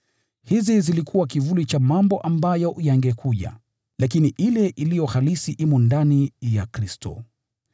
Hizi zilikuwa kivuli cha mambo ambayo yangekuja, lakini ile iliyo halisi imo ndani ya Kristo.